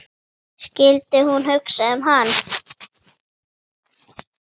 Skyldi hún hugsa um hann?